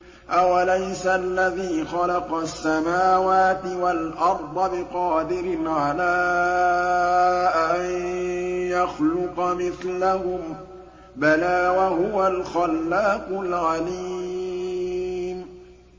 أَوَلَيْسَ الَّذِي خَلَقَ السَّمَاوَاتِ وَالْأَرْضَ بِقَادِرٍ عَلَىٰ أَن يَخْلُقَ مِثْلَهُم ۚ بَلَىٰ وَهُوَ الْخَلَّاقُ الْعَلِيمُ